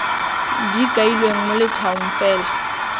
di kailweng mo letshwaong fela